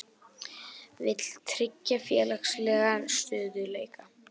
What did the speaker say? Vill tryggja félagslegan stöðugleika